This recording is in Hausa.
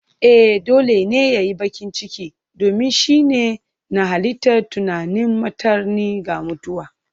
Ee! Dole ne ya yi baƙin ciki, domin shi ne na halitta tunanin martani ga mutuwa.